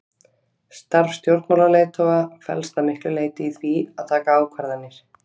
Starf stjórnmálaleiðtoga felst að miklu leyti í því að taka ákvarðanir.